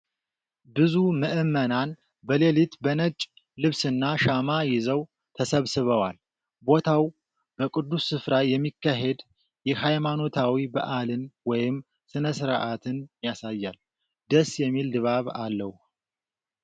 ብዙ ምዕመናን በሌሊት በነጭ ልብስና ሻማ ይዘው ተሰብስበዋል። ቦታው በቅዱስ ሥፍራ የሚካሄድ የሃይማኖታዊ በዓልን ወይም ሥርዓትን ያሳያል ። ደስ የሚል ድባብ አለው ።